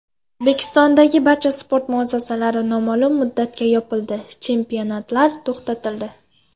O‘zbekistondagi barcha sport muassasalari noma’lum muddatga yopildi, chempionatlar to‘xtatildi.